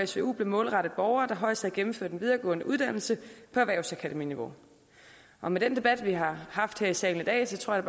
svu blev målrettet borgere der højst havde gennemført en videregående uddannelse på erhvervsakademiniveau og med den debat vi har haft her i salen i dag tror jeg